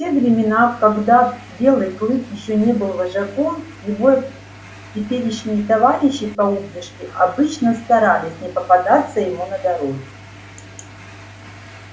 в те времена когда белый клык ещё не был вожаком его теперешние товарищи по упряжке обычно старались не попадаться ему на дороге